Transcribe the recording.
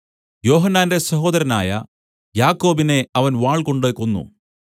യോഹന്നാന്റെ സഹോദരനായ യാക്കോബിനെ അവൻ വാൾകൊണ്ട് കൊന്നു